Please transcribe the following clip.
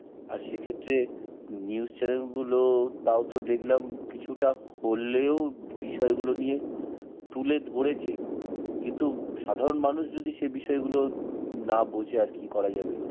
আর সে ক্ষেত্রে news channel গুলো তাও তো দেখলাম কিছুটা হলেও বিষয়গুলো নিয়ে তুলে ধরেছে. কিন্তু সাধারণ মানুষ যদি সেই বিষয়গুলো না বোঝে আর কি করা যাবে.